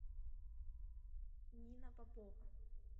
нина попова